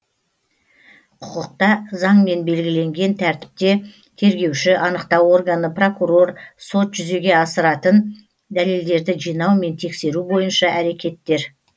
құқықта заңмен белгіленген тәртіпте тергеуші анықтау органы прокурор сот жүзеге асыратын дәлелдерді жинау мен тексеру бойынша әрекеттер